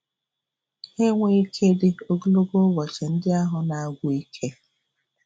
Ha enweghị ike idi ogologo ụbọchị ndị ahụ na-agwụ ike.